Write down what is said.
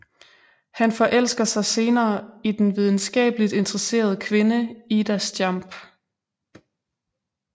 Han forelsker sig senere i den videnskabeligt interesserede kvinde Ida Stjamp